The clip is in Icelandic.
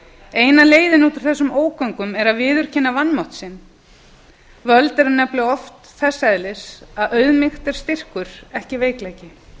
eina leiðin út úr þessum ógöngum er að viðurkenna vanmátt sinn völd eru nefnilega oft þess eðlis að auðmýkt er styrkur ekki veikleiki